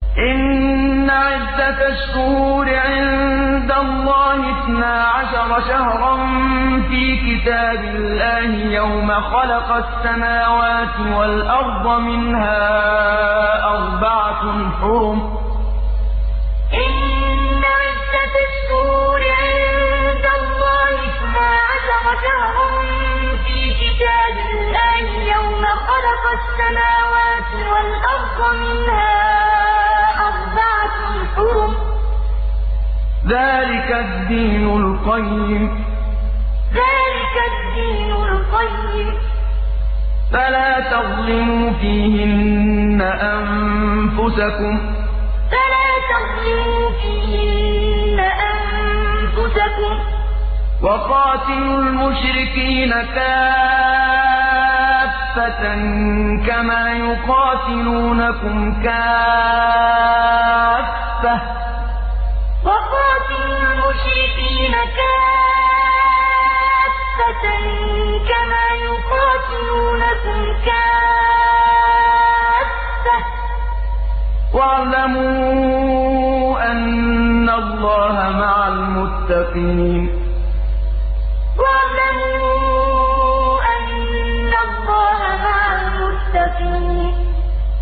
إِنَّ عِدَّةَ الشُّهُورِ عِندَ اللَّهِ اثْنَا عَشَرَ شَهْرًا فِي كِتَابِ اللَّهِ يَوْمَ خَلَقَ السَّمَاوَاتِ وَالْأَرْضَ مِنْهَا أَرْبَعَةٌ حُرُمٌ ۚ ذَٰلِكَ الدِّينُ الْقَيِّمُ ۚ فَلَا تَظْلِمُوا فِيهِنَّ أَنفُسَكُمْ ۚ وَقَاتِلُوا الْمُشْرِكِينَ كَافَّةً كَمَا يُقَاتِلُونَكُمْ كَافَّةً ۚ وَاعْلَمُوا أَنَّ اللَّهَ مَعَ الْمُتَّقِينَ إِنَّ عِدَّةَ الشُّهُورِ عِندَ اللَّهِ اثْنَا عَشَرَ شَهْرًا فِي كِتَابِ اللَّهِ يَوْمَ خَلَقَ السَّمَاوَاتِ وَالْأَرْضَ مِنْهَا أَرْبَعَةٌ حُرُمٌ ۚ ذَٰلِكَ الدِّينُ الْقَيِّمُ ۚ فَلَا تَظْلِمُوا فِيهِنَّ أَنفُسَكُمْ ۚ وَقَاتِلُوا الْمُشْرِكِينَ كَافَّةً كَمَا يُقَاتِلُونَكُمْ كَافَّةً ۚ وَاعْلَمُوا أَنَّ اللَّهَ مَعَ الْمُتَّقِينَ